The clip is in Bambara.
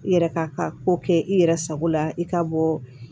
I yɛrɛ k'a ka ko kɛ i yɛrɛ sago la i ka bɔ